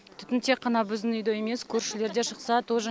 түтін тек қана біздің үйде емес көршілерде шықса тоже